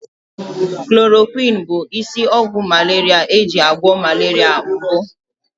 Chloroquine bụ isi ọgwụ malaria eji agwọ malaria mbụ.